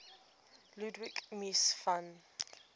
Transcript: ludwig mies van